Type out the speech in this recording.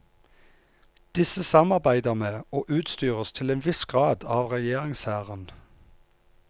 Disse samarbeider med, og utstyres til en viss grad av regjeringshæren.